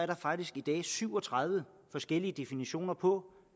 der faktisk i dag syv og tredive forskellige definitioner på